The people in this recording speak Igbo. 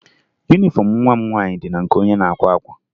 Yunifọmụ nwa m nwaanyị dị na nke onye na-akwa akwa